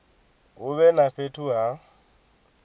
hu vhe na fhethu ha